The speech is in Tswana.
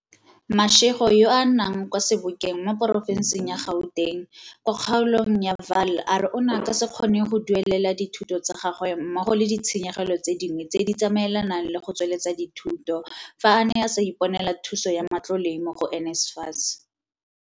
Mashego yo a nnang kwa Sebokeng mo porofenseng ya Gauteng kwa kgaolong ya Vaal a re o ne a ka se kgone go duelela dithuto tsa gagwe mmogo le di tshenyegelo tse dingwe tse di tsamaelanang le go tsweletsa dithuto fa a ne a sa iponela thuso ya matlole mo go NSFAS.